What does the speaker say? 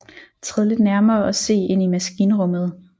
Træd lidt nærmere og se ind i maskinrummet